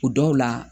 O dɔw la